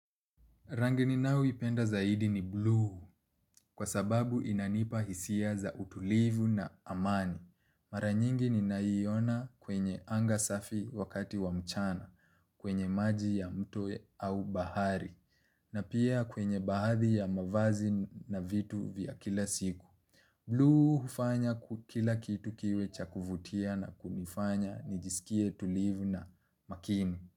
Rangi ninayoipenda zaidi ni buluu kwa sababu inanipa hisia za utulivu na amani. Mara nyingi ninaiona kwenye anga safi wakati wa mchana kwenye maji ya mto au bahari na pia kwenye baadhi ya mavazi na vitu vya kila siku. Buluu hufanya kila kitu kiwe cha kuvutia na kunifanya nijisikie tulivu na makini.